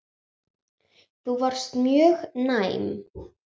Þú varst mjög næm.